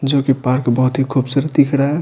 जो कि पार्क बहुत ही खूबसूरत दिख रहा है।